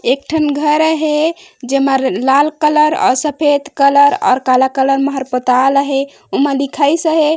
एक ठन घर अहे जे मन लाल कलर और सफ़ेद कलर और कला कलर हर पोतायल अहे ओमा लिखाइस अहे।